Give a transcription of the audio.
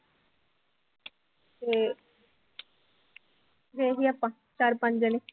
ਤੇ ਗਏ ਸੀ ਆਪਾਂ ਚਾਰ ਪੰਜ ਜਾਣੇ।